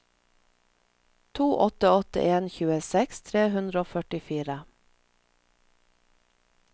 to åtte åtte en tjueseks tre hundre og førtifire